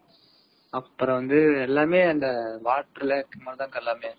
அப்பறம் வந்து எல்லாமே waterlake அந்தமாதிரி தான் எல்லாமே